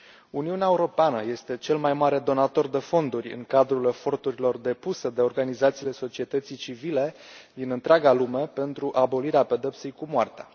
Uniunea Europeană este cel mai mare donator de fonduri în cadrul eforturilor depuse de organizațiile societății civile din întreaga lume pentru abolirea pedepsei cu moartea.